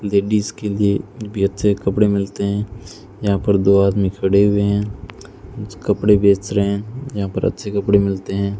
Ladies के लिए भी अच्छे कपड़े मिलते हैं यहां पर दो आदमी खड़े हुए हैं कुछ कपड़े बेच रहे हैं यहां पर अच्छे कपड़े मिलते हैं।